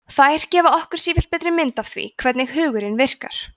þær gefa okkur sífellt betri mynd af því hvernig hugurinn virkar